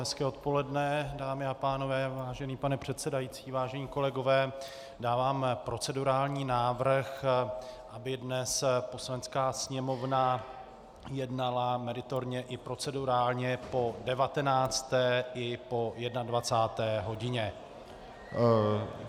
Hezké odpoledne, dámy a pánové, vážený pane předsedající, vážení kolegové, dávám procedurální návrh, aby dnes Poslanecká sněmovna jednala meritorně i procedurálně po 19. i po 21. hodině.